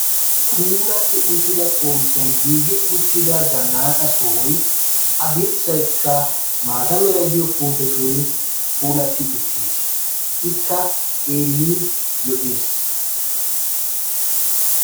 Puulatti uttida xomppiyan giigi uttida zannaaqa sohoyi a dirssaykka maata merayi diyo puutetun puulatti uttis. Ikka xeellin lo"es.